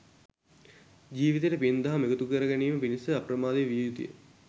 ජීවිතයට පින් දහම් එකතු කරගැනීම පිණිස අප්‍රමාදී විය යුතුය